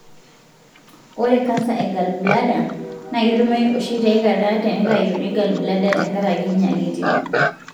ore canser e galbladder na ktumoyu oshi taikata tenitayuni gallbladeer tenkaraki nyalitin.